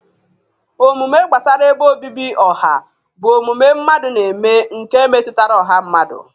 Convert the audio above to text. Omume gbasara ebe obibi ọha bụ omume mmadụ na-eme nke metụtara ọha mmadụ.